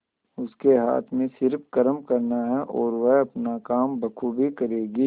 उसके हाथ में सिर्फ कर्म करना है और वह अपना काम बखूबी करेगी